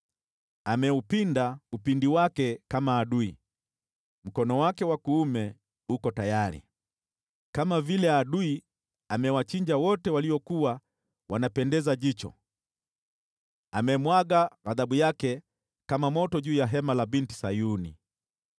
Ameupinda upinde wake kama adui, mkono wake wa kuume uko tayari. Kama vile adui amewachinja wote waliokuwa wanapendeza jicho, amemwaga ghadhabu yake kama moto juu ya hema la Binti Sayuni.